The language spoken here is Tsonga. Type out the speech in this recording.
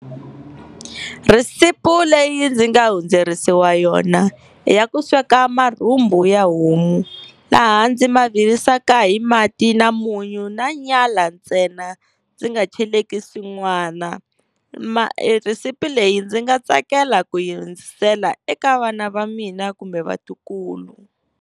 Rhesipi leyi ndzi nga hundzerisiwa yona i ya ku sweka marhumbu ya homu, laha ndzi ma virisaka hi mati na munyu na nyala ntsena, ndzi nga cheleki swin'wana. rhesipi leyi ndzi nga tsakela ku yi hundzisela eka vana va mina kumbe vatukulu.